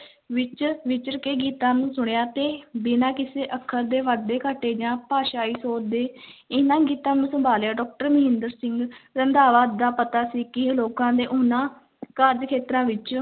ਵਿੱਚ ਵਿਚਰ ਕੇ ਗੀਤਾਂ ਨੂੰ ਸੁਣਿਆ ਤੇ ਬਿਨਾਂ ਕਿਸੇ ਅੱਖਰ ਦੇ ਵਾਧੇ-ਘਾਟੇ ਜਾਂ ਭਾਸ਼ਾਈ ਸੋਧ ਦੇ ਇਹਨਾਂ ਗੀਤਾਂ ਨੂੰ ਸੰਭਾਲਿਆ doctor ਮਹਿੰਦਰ ਸਿੰਘ ਰੰਧਾਵਾ ਦਾ ਪਤਾ ਸੀ ਕਿ ਲੋਕਾਂ ਦੇ ਉਹਨਾਂ ਕਾਰਜ ਖੇਤਰਾਂ ਵਿੱਚ,